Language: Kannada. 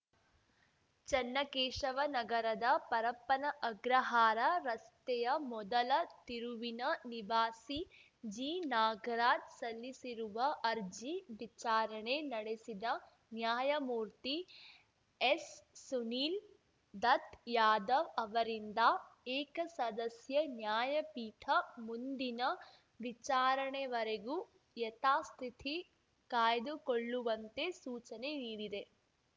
ಚನ್ನಕೇಶವ ನಗರದ ಪರಪ್ಪನ ಅಗ್ರಹಾರ ರಸ್ತೆಯ ಮೊದಲ ತಿರುವಿನ ನಿವಾಸಿ ಜಿನಾಗರಾಜ್ ಸಲ್ಲಿಸಿರುವ ಅರ್ಜಿ ವಿಚಾರಣೆ ನಡೆಸಿದ ನ್ಯಾಯಮೂರ್ತಿ ಎಸ್‌ಸುನಿಲ್‌ ದತ್‌ ಯಾದವ್‌ ಅವರಿಂದ್ದ ಏಕಸದಸ್ಯ ನ್ಯಾಯಪೀಠ ಮುಂದಿನ ವಿಚಾರಣೆವರೆಗೂ ಯಥಾಸ್ಥಿತಿ ಕಾಯ್ದುಕೊಳ್ಳುವಂತೆ ಸೂಚನೆ ನೀಡಿದೆ